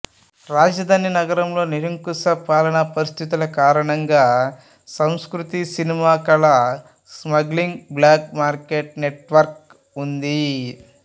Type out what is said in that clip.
రాజధాని నగరంలో నిరంకుశ పాలన పరిస్థితుల కారణంగా సంస్కృతి సినిమా కళల స్మగ్లింగు బ్లాక్ మార్కెట్ నెట్వర్క్ ఉంది